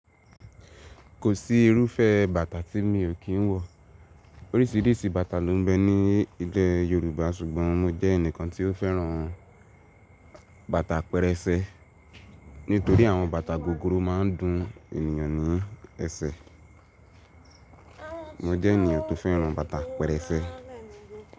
Kò sí irúfẹ́ bàtà tí mi ò kí ń wọ̀. Oríṣìíríṣìí bàtà ló m bẹ ní ilé Yorùbá ṣùgbọ́n mo jẹ́ ẹnìkan tí ó fẹ́ràn bàtà pẹ̀rẹ̀sẹ̀ nítorí àwọn bàtà gogoro máa ń dun ènìyàn ní ẹsẹ̀. Mo jẹ́ ènìyàn tó fẹ́ràn bàtà apẹ̀rẹ̀ ẹsẹ̀.